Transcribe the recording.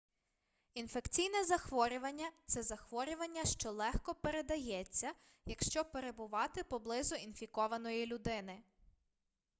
інфекційне захворювання це захворювання що легко передається якщо перебувати поблизу інфікованої людини